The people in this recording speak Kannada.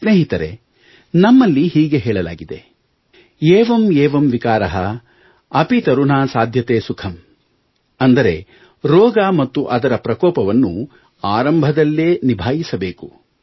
ಸ್ನೇಹಿತರೇ ನಮ್ಮಲ್ಲಿ ಹೀಗೆ ಹೇಳಲಾಗಿದೆ ಏವಂ ಏವಂ ವಿಕಾರಃ ಅಪಿ ತರುನ್ಹಾ ಸಾಧ್ಯತೆ ಸುಖಂ ಅಂದರೆ ರೋಗ ಮತ್ತು ಅದರ ಪ್ರಕೋಪವನ್ನು ಆರಂಭದಲ್ಲೇ ನಿಭಾಯಿಸಬೇಕು